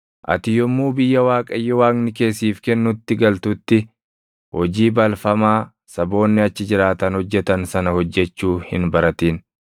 Ati yommuu biyya Waaqayyo Waaqni kee siif kennutti galtutti, hojii balfamaa saboonni achi jiraatan hojjetan sana hojjechuu hin baratin.